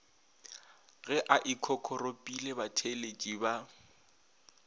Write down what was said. ge a ikokoropile batheeletši ba